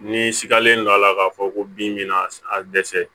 N'i sigalen don a la k'a fɔ ko bin b'a dɛsɛ